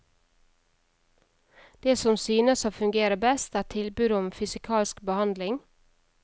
Det som synes å fungere best, er tilbudet om fysikalsk behandling.